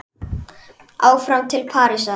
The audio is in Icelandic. Áfram til Parísar